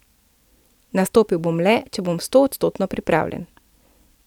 Nastopil bom le, če bom stoodstotno pripravljen.